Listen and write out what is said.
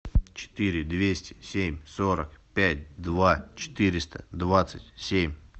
четыре двести семь сорок пять два четыреста двадцать семь